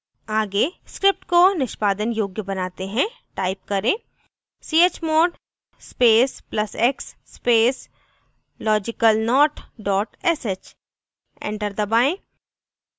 आगे script को निष्पादन योग्य बनाते हैं टाइप करें: